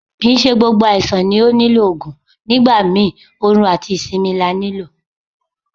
Kì ń ṣe gbogbo àìsàn ló nílò Ògùn, nígbà mi orun àti ìsinmi la ní lò.